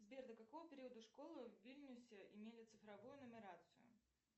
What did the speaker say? сбер до какого периода школы в вильнюсе имели цифровую нумерацию